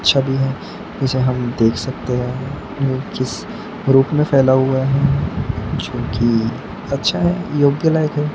छवि है इसे हम देख सकते हैं न्यू जिस ग्रुप मे फैला हुआ है जो की अच्छा है योग्य लायक है।